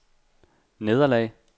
nederlag